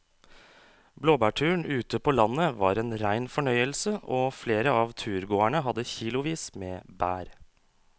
Blåbærturen ute på landet var en rein fornøyelse og flere av turgåerene hadde kilosvis med bær.